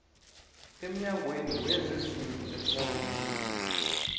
emnyangweni wezezindlu wephrovinsi